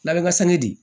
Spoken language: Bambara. Labɛn ka sɛnɛ di